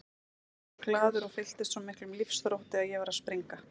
Ég varð svo glaður og fylltist svo miklum lífsþrótti að ég var að springa.